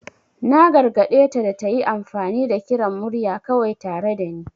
Na gargade ta da ta yi amfani da kiran murya kawai tare da ni.